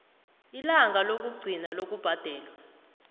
ilanga lokugcina lokubhadelwa